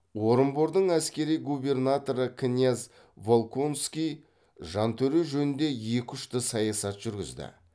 орынбордың әскери губернаторы князь волконский жантөре жөнінде екі ұшты саясат жүргізді